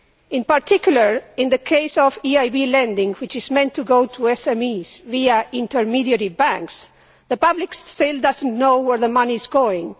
In particular, in the case of EIB lending which is meant to go to SMEs via intermediary banks, the public still does not know where the money is going.